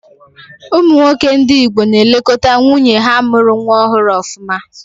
Ụmụ nwoke ndị Igbo na-elekọta nwunye ha mụrụ nwa ọhụrụ ọfụma.